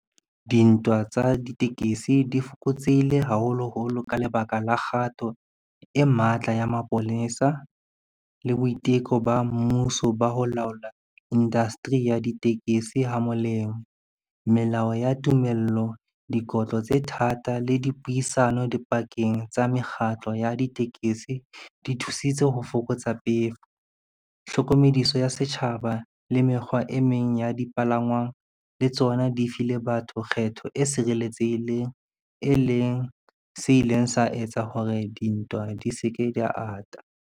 Dintwa tsa ditekesi di fokotsehile haholoholo ka lebaka la kgato e matla ya mapolesa le boiteko ba mmuso ba ho laola industry ya ditekesi ha molemo. Melao ya tumello, dikotlo tse thata le dipuisano dipakeng tsa mekgatlo ya ditekesi di thusitse ho fokotsa pefo. Tlhokomediso ya setjhaba le mekgwa e meng ya dipalangwang le tsona di file batho kgetho e sireletsehileng e leng se ileng sa etsa hore dintwa di se ke di ata.